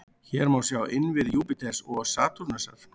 Hér má sjá innviði Júpíters og Satúrnusar.